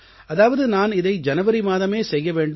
அதாவது நான் இதை ஜனவரி மாதமே செய்ய வேண்டும்